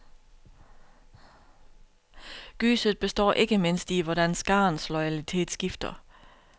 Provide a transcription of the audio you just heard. Gyset består ikke mindst i, hvordan skarens loyalitet skifter.